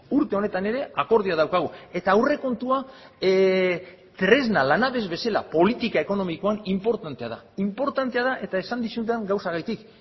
urte honetan ere akordioa daukagu eta aurrekontua tresna lanabes bezala politika ekonomikoan inportantea da inportantea da eta esan dizudan gauzagatik